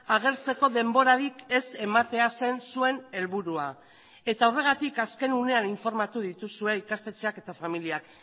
agertzeko denborarik ez ematea zen zuen helburua eta horregatik azken unean informatu dituzue ikastetxeak eta familiak